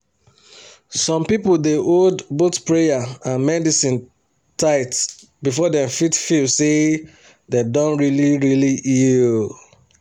some people dey hold both prayer and medicine tight before dem fit feel say dem don really really heal.